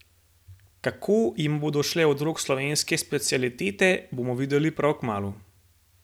Kako jima bodo šle od rok slovenske specialitete, bomo videli prav kmalu!